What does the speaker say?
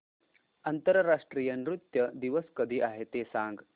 आंतरराष्ट्रीय नृत्य दिवस कधी आहे ते सांग